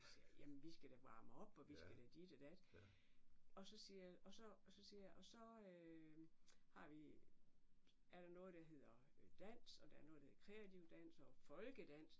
Så siger jeg jamen vi skal da varme op og vi skal da dit og dat og så siger og så og så siger og så har vi er der noget der hedder dans og der er noget der hedder kreativ dans og folkedans